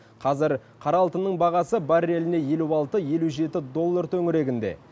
қазір қара алтынның бағасы барреліне елу алты елу жеті доллар төңірегінде